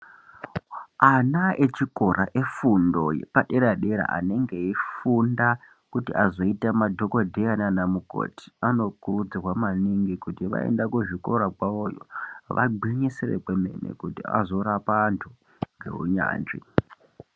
Ana echikora efundo yepadera dera anenge eifunda kuti azoita madhokodheya naana mukoti anokurudzirwa maningi kuti vaenda kuzvikora zvavoyo vagwinyisire kwemene kuti vazorapa antu ngeunyanzvi.